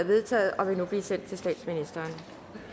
vedtaget og vil nu blive sendt til statsministeren